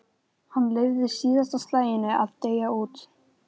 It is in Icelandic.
Hann leyfði síðasta slaginu að deyja út.